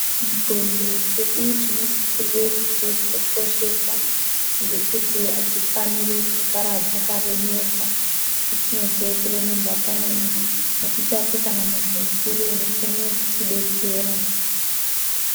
Nxondo dzedu tinosisirwe kudzikoshesa ngekuti adzifaniri kugara dzakaremerwa patinozwe kuremerwa payani ngatitsvake kana muntu mukuru unotidetsera.